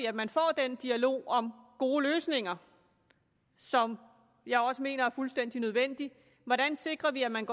at man får den dialog om gode løsninger som jeg også mener er fuldstændig nødvendig hvordan sikrer vi at man